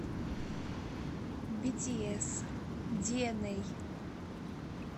битиэс диэнэй